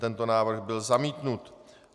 Tento návrh byl zamítnut.